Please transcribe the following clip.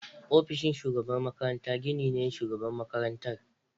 Ofishin shugaban makaranta gini ne na Shugaban Makarantar.